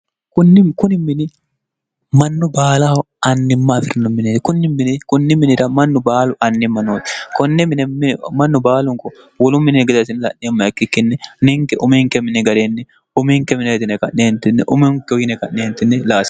ukuni mini mannu baalaho annimma afirno mine kunni minira mannu baalu annimma nooti konne inemannu baalunko wolu mini gade asinla'neemma ikkikkinni ninke uminke mini ga'reenni uminke mine yetine ka'neentinni uminke oyine qa'neentinni laare